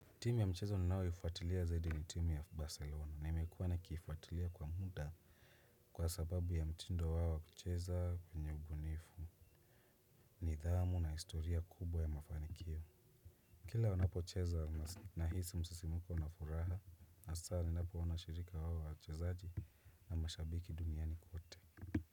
Timu ya mchezo ninayoifuatilia zaidi ni timu ya Barcelona na nimekuwa nikifuatilia kwa muda. Kwa sababu ya mtindo wao wa kucheza kwenye ubunifu nidhamu na historia kubwa ya mafanikio. Kila wanapo cheza na hisi msisimuko na furaha. Asa ninapo wanashirika wawa wa kuchezaji na mashabiki duniani kwote.